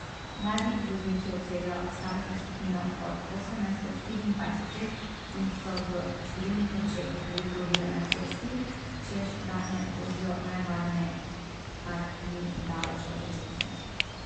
Mladi vozniki obsegajo starostno skupino od osemnajst do štiriindvajset let in so v številnih očeh velika ovira na cesti, češ da ne vozijo najvarneje, kar ni daleč od resnice.